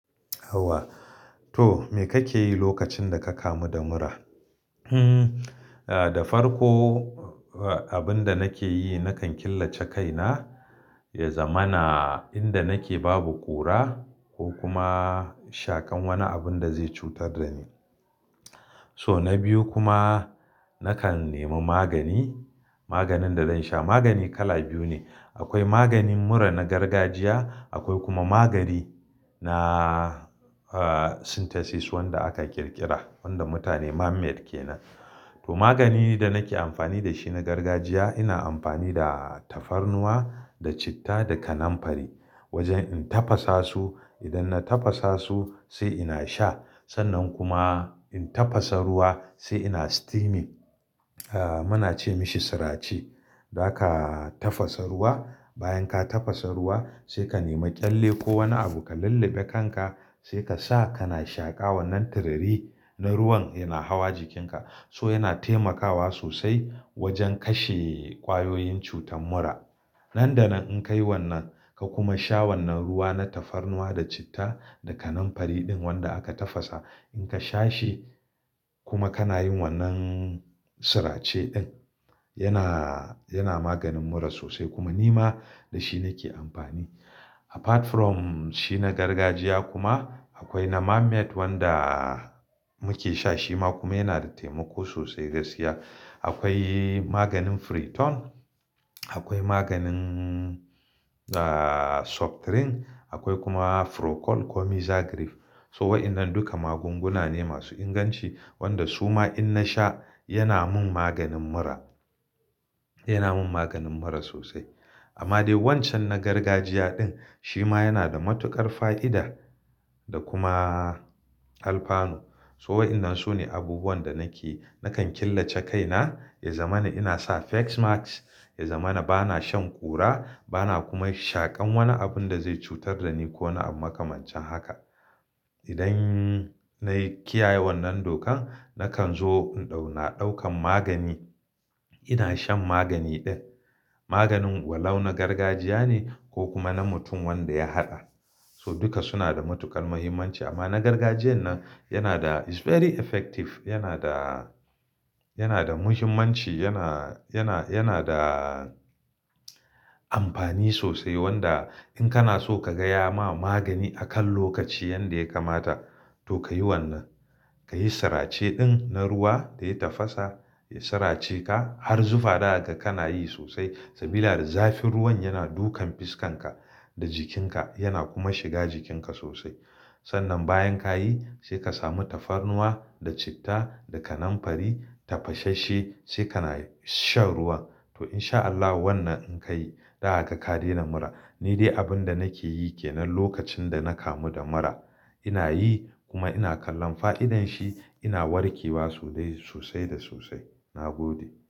Yauwa. To me kake yi lokacin da ka kamu da mura? Hmm, da farko abin da nake yi, nakan killace kaina, ya zamana inda nake babu ƙura ko kuma shaƙan wani abun da zai cutar da ni. So na biyu kuma nakan nemi magani. Maganin da zan sha, magani kala biyu ne. Akwai maganin mura na gargajiya, akwai kuma magani na synthesis wanda aka ƙirƙira, wanda mutane man made kenan. To maganin da nake amfani da shi na gargajiya, ina amfani da tafarnuwa da citta da kananfari. Wajen in tafasa su, idan na tafasa su sai ina sha. Sannan kuma in tafasa ruwa sai ina steaming. Muna ce mashi sirace. Zaka tafasa ruwa, bayan ka tafasa ruwa sai ka nemi ƙyalle ko wani abu ka lulluɓe kanka, sai ka sa kana shaƙa wannan turiri na ruwan yana hawa jikinka. So yana taimakawa sosai wajen kashe ƙwayoyin cutar mura. Nan da nan in ka yi wannan, ka kuma sha wannan ruwa na tafarnuwa da citta da kaninfari ɗin wanda aka tafasa, in ka sha shi kuma kana yin wannan sirace ɗin, yana, yana maganin mura sosai kuma ni ma da shi nake amfani. Apart from shi na gargajiya kuma akwai na manmade wanda muke sha shi ma kuma yana da taimako sosai gaskiya. Akwai maganin Friton, akwai maganin Suptirin, akwai kuma Procold ko Mixagrip. So waɗannan duka magunguna ne masu inganci wanda suma in na sha yana mun maganin mura. Yana mun maganin mura sosai. Amma dai wancan na gargajiya ɗin shi ma yana da matuƙar fa'ida da kuma alfano. So waɗannan su ne abubuwan da nake, nakan killace kaina, ya zamana ina sa face mask, ya zamana bana shan ƙura, bana kuma shaƙan wani abun da zai cutar da ni ko wani abu makamancin haka. Idan nayi kiyaye wannan dokan, nakan zo in ɗau, na ɗaukan magani. Ina shan magani ɗin. Maganin walau na gargajiya ne ko kuma na mutum wanda ya haɗa. So duka suna da matuƙar muhimmanci amma na gargajiyan nan yana da is very effective, yana da, yana da muhimmanci, yana, yana, yana da amfani sosai wanda in kana so ka gaya ma magani akan lokaci yanda ya kamata to ka yi wannan. Ka yi sirace ɗin na ruwa da ya tafasa, ya sirace ka har zufa daga kana yi sosai. Saboda zafin ruwan yana dukan fuskanka da jikinka yana kuma shiga jikinka sosai. Sannan bayan ka yi sai ka sami tafarnuwa da citta da kananfari tafasasse sai kana shan ruwan. To in sha Allah wannan in ka yi daga ka dena mura. Ni dai abin da nake yi kenan lokacin da na kamu da mura. Ina yi kuma ina kallon fa'idan shi ina warke wa sosai, sosai da sosai. Na gode.